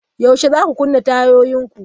Yaushe zaku kunna tayoyin ku?